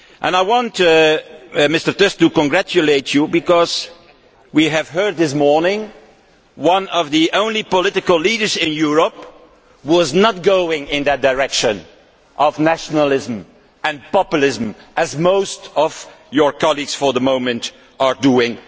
I would like to congratulate Mr Tusk because we have heard this morning from one of the only political leaders in Europe who is not going in the direction of nationalism and populism, as most of his colleagues for the moment are doing.